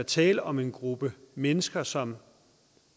tale om en gruppe mennesker som